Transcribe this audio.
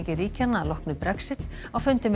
ríkjanna að loknu Brexit á fundi með